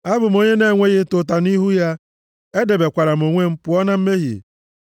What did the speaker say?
Abụ m onye na-enweghị ịta ụta nʼihu ya, edebekwara m onwe m pụọ na mmehie.